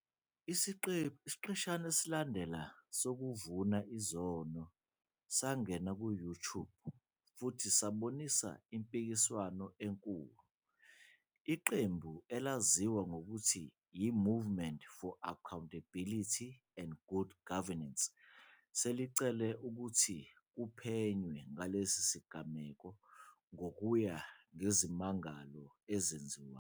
Isiqeshana esalandela sokuvuma izono sangena ku-YouTube futhi sabonisa impikiswano enkulu. Iqembu elaziwa ngokuthi "yiMovement for Accountability and Good Governance", selicele ukuthi kuphenywe ngalesi sigameko ngokuya ngezimangalo ezenziwayo.